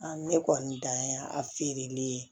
ne kɔni dan ye a feereli ye